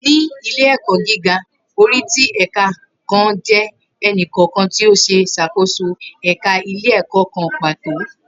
Ni ile-ẹkọ giga, ori ti ẹka kan jẹ ẹni kọọkan ti o ṣe ṣakoso ẹka ile-ẹkọ kan pato.